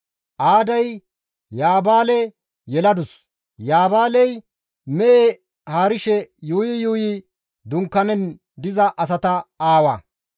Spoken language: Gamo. Aaday Yaabaale yeladus; Yaabaaley mehe haarishe yuuyi yuuyi dunkaanen diza asata aawa.